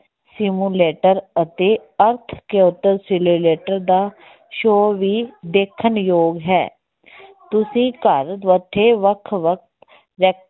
simulator ਅਤੇ ਦਾ show ਵੀ ਦੇਖਣਯੋਗ ਹੈ ਤੁਸੀਂ ਘਰ ਬੈਠੇ ਵੱਖ ਵੱਖ